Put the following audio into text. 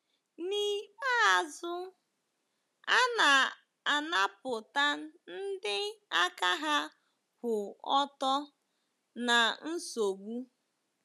N’ikpeazụ, a na-anapụta ndị aka ha kwụ ọtọ ná nsogbu.